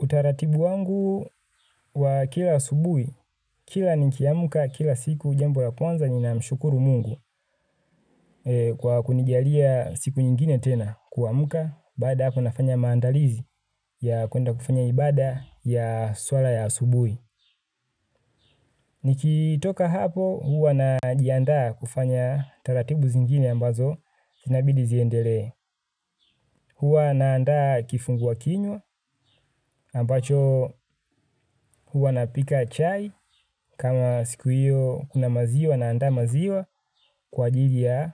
Utaratibu wangu wa kila asubuhi, kila nikiamka kila siku jambo la kwanza ninamshukuru Mungu kwa kunijalia siku nyingine tena kuamka baada ya hapo nafanya maandalizi ya kuenda kufanya ibada ya swala ya asubuhi. Nikitoka hapo huwa najiandaa kufanya taratibu zingine ambazo zinabidi ziendelee. Huwa naandaa kifungua kinywa ambacho huwa napika chai kama siku hiyo kuna maziwa naandaa maziwa kwa ajili ya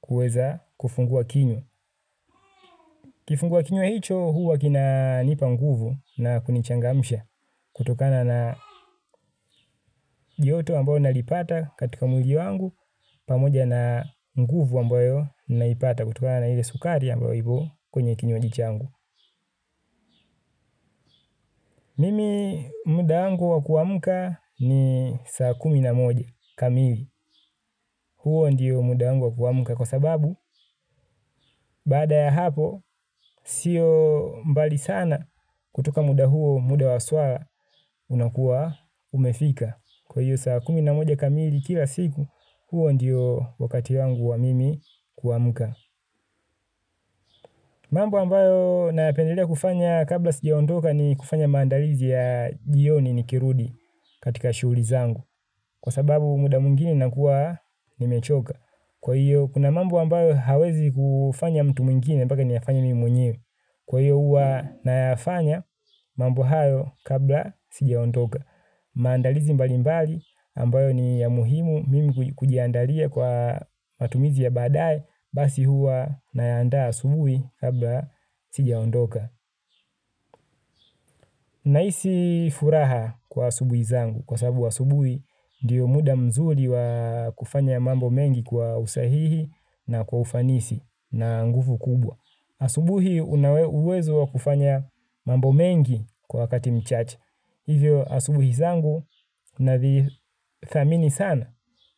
kuweza kufungua kinywa. Kifungua kinywa hicho huwa kinanipa nguvu na kunichangamsha kutokana na joto ambayo nalipata katika mwili wangu pamoja na nguvu ambayo naipata kutokana na ile sukari ambayo ipo kwenye kinywaji changu. Mimi muda wangu wa kuamka ni saa kumi na moja kamili. Huo ndiyo muda wangu wa kuamka kwa sababu baada ya hapo sio mbali sana kutoka muda huo muda wa swala unakuwa umefika. Kwa hiyo saa kumi na moja kamili kila siku huo ndiyo wakati wangu wa mimi kuamka. Mambo ambayo nayapendelea kufanya kabla sijaondoka ni kufanya maandalizi ya jioni nikirudi katika shughuli zangu kwa sababu muda mwingine ninakuwa nimechoka. Kwa hiyo kuna mambo ambayo hawezi kufanya mtu mwingine mpaka niyafanye mimi mwenyewe. Kwa hiyo huwa nayafanya mambo hayo kabla sijaondoka. Maandalizi mbali mbali ambayo ni ya muhimu mimi kujiandalia kwa matumizi ya baadaye basi huwa nayaandaa asubuhi kabla sijaondoka. Nahisi furaha kwa asubuhi zangu kwa sababu asubuhi ndio muda mzuri wa kufanya mambo mengi kwa usahihi na kwa ufanisi na nguvu kubwa. Asubuhi una uwezo wa kufanya mambo mengi kwa wakati mchache. Hivyo asubuhi zangu na thamini sana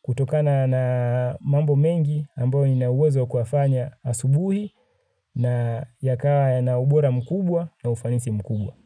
kutokana na mambo mengi ambayo ninawezo wa kuyafanya asubuhi na yakawa yana ubora mkubwa na ufanisi mkubwa.